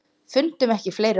Fundum ekki fleiri orð.